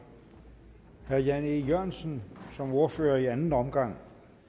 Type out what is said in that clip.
herre jan e jørgensen som ordfører i anden omgang